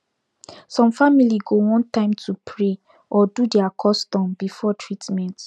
some family go want time to pray or do their custom before treatment